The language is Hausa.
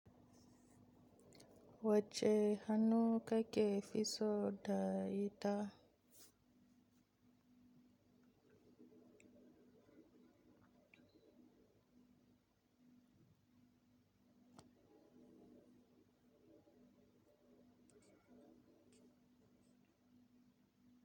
Wacce hannu kake fi so da yita?